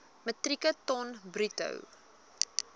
metrieke ton bruto